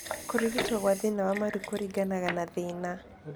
Kũrigito kwa thĩna wa maru kũringanaga na thĩna.